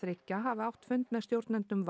þriggja hafi átt fund með stjórnendum